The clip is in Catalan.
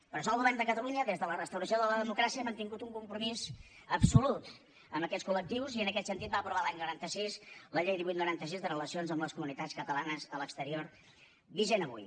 per això el govern de catalunya des de la restauració de la democràcia ha mantingut un compromís absolut amb aquests col·lectius i en aquest sentit va aprovar l’any noranta sis la llei divuit noranta sis de relacions amb les comunitats catalanes a l’exterior vigent avui